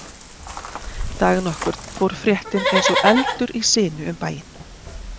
Dag nokkurn fór fréttin eins og eldur í sinu um bæinn.